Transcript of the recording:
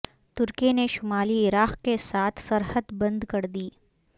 ترکی نے شمالی عراق کے سا تھ سرحد بند کردی